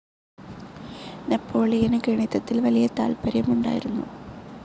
നെപ്പോളിയന് ഗണിതത്തിൽ വലിയ താത്പര്യമുണ്ടായിരുന്നു.